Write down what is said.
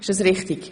Ist das richtig?